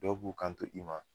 Dɔw b'u kanto i ma